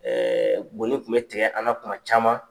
goni tun bɛ tigɛ an na tuma caman.